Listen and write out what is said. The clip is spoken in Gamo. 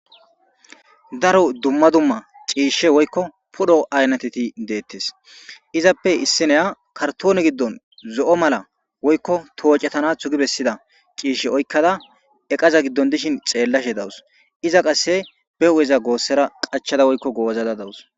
daro dumma dumma ciishshe woykko pudho aynateti deettes izappe issineya kartoone giddon zo7o mala woykko toocetanathu gi bessida ciishshe oykkada eqaza giddon dishin xeellashe dawus iza qasse be hu7eza goossera qachada woykko goozada dawus